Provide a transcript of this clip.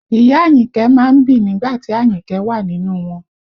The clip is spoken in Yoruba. Ìyá Àyìnkẹ́ má ń bì nígbà tí Àyìnkẹ́ wà nínú wọn